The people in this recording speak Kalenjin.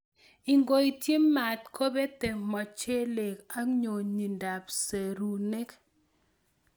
Ingoityi maat kobete mochelek anyonyindab serunek.